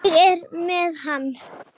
Ég er með hann.